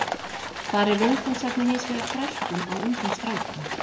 Þar er viðfangsefnið hins vegar þrælkun á ungum strákum.